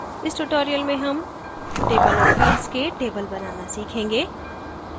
इस tutorial में हम table of fields के table बनाना सीखेंगे